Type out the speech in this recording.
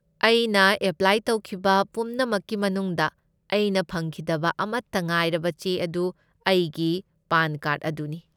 ꯑꯩꯅ ꯑꯦꯄ꯭ꯂꯥꯏ ꯇꯧꯈꯤꯕ ꯄꯨꯝꯅꯃꯛꯀꯤ ꯃꯅꯨꯡꯗ, ꯑꯩꯅ ꯐꯪꯈꯤꯗꯕ ꯑꯃꯠꯇ ꯉꯥꯏꯔꯕ ꯆꯦ ꯑꯗꯨ ꯑꯩꯒꯤ ꯄꯥꯟ ꯀꯥꯔꯗ ꯑꯗꯨꯅꯤ꯫